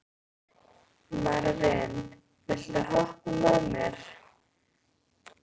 Marvin, viltu hoppa með mér?